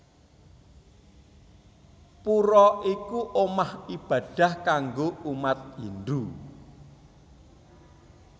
Pura iku omah ibadah kanggo umat Hindu